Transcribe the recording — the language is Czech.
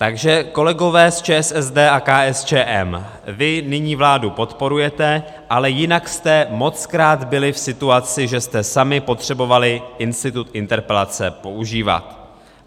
Takže kolegové z ČSSD a KSČM, vy nyní vládu podporujete, ale jinak jste mockrát byli v situaci, že jste sami potřebovali institut interpelace používat.